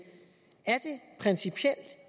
principielt er